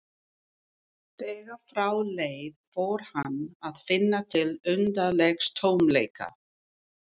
Þegar frá leið fór hann að finna til undarlegs tómleika.